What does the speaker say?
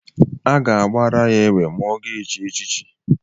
A ga-agbara ya egbe mgbe ọ ga-echi echiechi